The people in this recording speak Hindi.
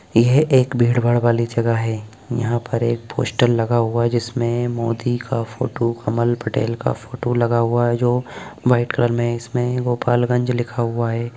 यह एक भीड़-भाड़ वाली जगह है यहाँ पर एक पोस्टर लगा हुआ हैं जिसमें मोदी का फोटो कमल पटेल का फोटो लगा हुआ हैं जो व्हाइट कलर मे इसमें गोपालगंज लिखा हुआ है।